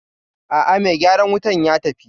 A'a mai gyaran wutan ya tafi